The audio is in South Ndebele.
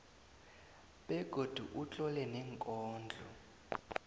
begodu utlole neenkondlo